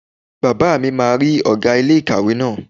Bàbá mi máa rí ọ̀gá ilé ìkàwé náà